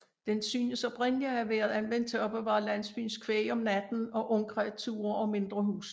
Den synes oprindeligt at have været anvendt til at opbevare landsbyens kvæg om natten og ungkreaturer og mindre husdyr